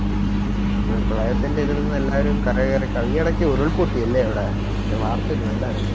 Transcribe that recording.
പ്രളയത്തിൻറെ ഇതിലങ് എല്ലാരും ഒന്ന് കരകയറി കയ്യേടക്ക് ഉരുൾ പൊട്ടി അല്ലെ അവിടെ ഞാൻ വാർത്തയിൽ കണ്ടാരുന്നു